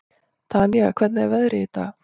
Tanía, hvernig er veðrið í dag?